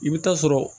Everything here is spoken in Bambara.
I bɛ taa sɔrɔ